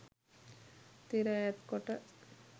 තිර ඈත් කොට